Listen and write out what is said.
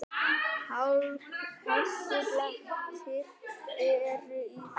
Hálkublettir eru í Þrengslum